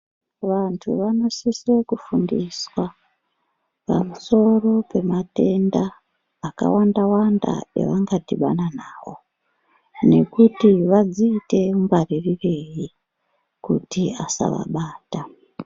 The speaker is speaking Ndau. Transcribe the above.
Vantu vanosiso kufundiswa pamusoro pematenda akawanda-wanda avangadhibana navo. Nekuti vadziite ngwaririrei kuti asavabata.